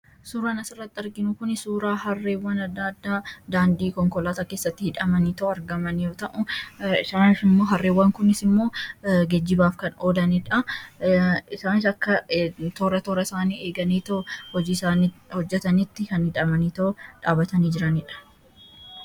Suuraan as irratti arginu kuni suuraa harreewwan adda addaa daandii konkolaataa kessatti hidhamanii argamaniidha.